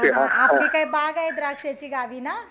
हा आपली काय बाग आहे द्राक्षाची गावी ना